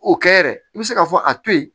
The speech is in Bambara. O kɛ yɛrɛ i bɛ se k'a fɔ a to yen